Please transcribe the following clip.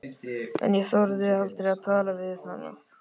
En ég þorði aldrei að tala við hana.